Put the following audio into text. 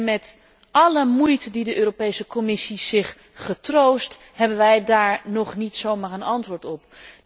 Met alle moeite die de Europese Commissie zich heeft getroost, hebben wij daar nog niet zomaar een antwoord op.